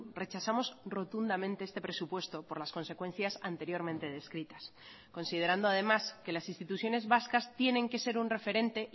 rechazamos rotundamente este presupuesto por las consecuencias anteriormente descritas considerando además que las instituciones vascas tienen que ser un referente